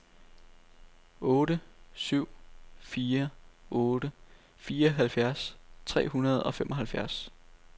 otte syv fire otte fireoghalvfjerds tre hundrede og femoghalvfjerds